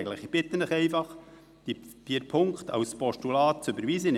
Ich bitte Sie, diese Ziffern als Postulat zu überweisen.